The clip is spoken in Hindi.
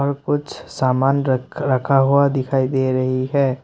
कुछ सामान र रखा हुआ दिखाई दे रही है।